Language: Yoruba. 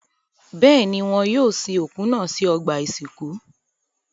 Bẹ́ẹ̀ ni, wọ́n yóò sin òkú náà sí ọgbà-ìsìnkú.